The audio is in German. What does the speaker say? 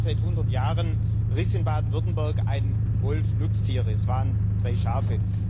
Zum ersten Mal seit hundert Jahren riss in Baden Württemberg ein Wolf Nutztiere, es waren drei Schafe.